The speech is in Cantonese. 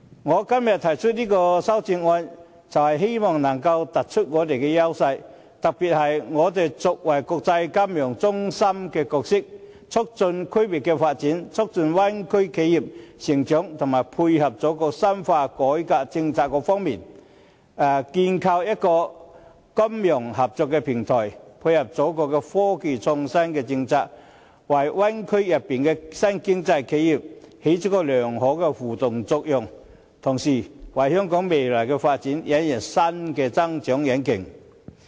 我今天提出這項修正案，便是希望能夠突出香港的優勢，特別是香港作為國際金融中心的角色，在促進區域的發展、促進灣區企業成長及配合祖國深化改革政策方面，構建一個金融合作平台，以配合祖國的科技創新政策，為灣區內的新經濟企業，發揮良好的互動作用，同時為香港的未來發展引入新的增長引擎。